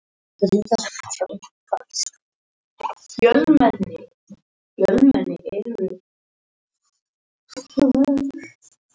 Ég þarf ekki að elda mat.